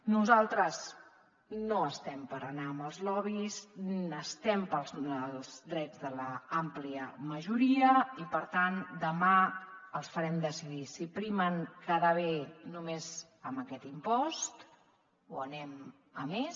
nosaltres no estem per anar amb els lobbys estem pels drets de l’àmplia majoria i per tant demà els farem decidir si primen quedar bé només amb aquest impost o anem a més